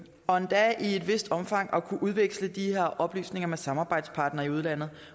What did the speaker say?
og endda i et vist omfang at kunne udveksle de her oplysninger med samarbejdspartnere i udlandet